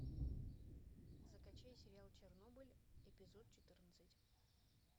закачай сериал чернобыль эпизод четырнадцать